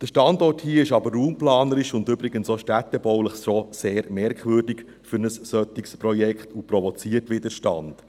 Der Standort hier ist aber raumplanerisch, und übrigens auch städtebaulich, so sehr merkwürdig für ein solches Projekt und provoziert Widerstand.